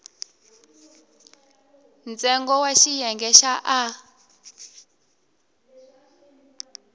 ntsengo wa xiyenge xa a